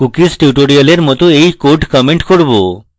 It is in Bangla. cookies tutorial মত এই code comment করব